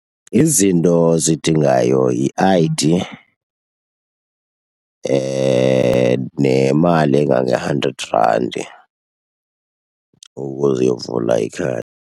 Izinto ozidingayo yi-I_D nemali engange-hundred randi ukuze uyovula ikhadi.